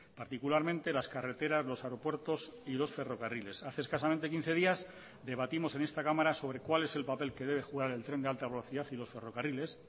particularmente las carreteras los aeropuertos y los ferrocarriles hace escasamente quince días debatimos en esta cámara sobre cuál es el papel que debe jugar el tren de alta velocidad y los ferrocarriles